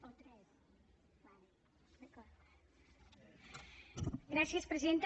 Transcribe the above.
gràcies presidenta